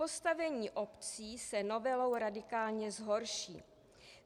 Postavení obcí se novelou radikálně zhorší.